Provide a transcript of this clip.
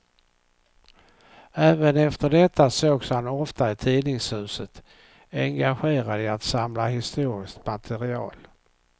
Även efter detta sågs han ofta i tidningshuset, engagerad i att samla historiskt material.